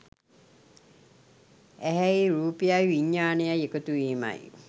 ඇහැයි රූපයයි විඤ්ඤාණයයි එකතුවීමයි.